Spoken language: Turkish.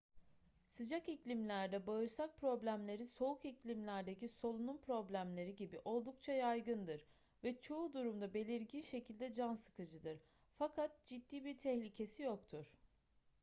sıcak iklimlerde bağırsak problemleri soğuk iklimlerdeki solunum problemleri gibi oldukça yaygındır ve çoğu durumda belirgin şekilde can sıkıcıdır fakat ciddi bir tehlikesi yoktur